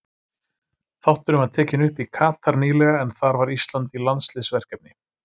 Þátturinn var tekinn upp í Katar nýlega en þar var Ísland í landsliðsverkefni.